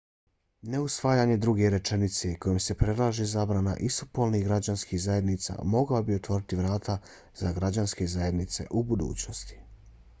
neusvajanje druge rečenice kojom se predlaže zabrana istopolnih građanskih zajednica mogao bi otvoriti vrata za građanske zajednice u budućnosti